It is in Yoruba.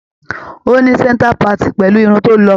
Ó ní centre parting pẹ̀lú irun tó lọ́.